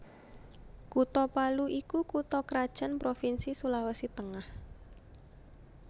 Kutha Palu iku kutha krajan provinsi Sulawesi Tengah